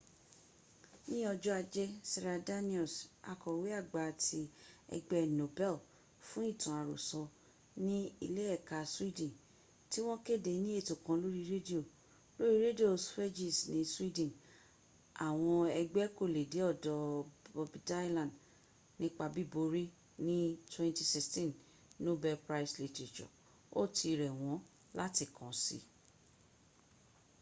ní ọjọ́ ajé sara danius akọ̀wé àgbà ti ẹgbẹ́ nobel fún ìtàn àròsọ ní ilé ẹ̀ka swedin tí wọ́n kéde ní ètò kan lóri rẹ́díò lóri rẹ́díò svergies ní sweden àwọn ẹgbk kò lè dé ọ̀dọ̀ bobdylan nípa bíborí ní 2016 nobel prize literature ó ti rẹ̀ wọ́n láti kàn si